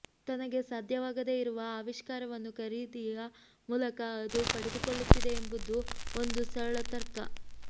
ತನಗೆ ಸಾಧ್ಯವಾಗದೇ ಇರುವ ಆವಿಷ್ಕಾರವನ್ನು ಖರೀದಿಯ ಮೂಲಕ ಅದು ಪಡೆದುಕೊಳ್ಳುತ್ತಿದೆ ಎಂಬುದು ಒಂದು ಸರಳ ತರ್ಕ